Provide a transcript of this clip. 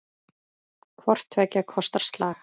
Hvort tveggja kostar slag.